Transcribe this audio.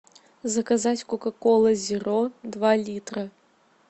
заказать кока кола зеро два литра